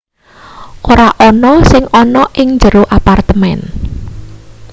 ora ana sing ana ing jero apartemen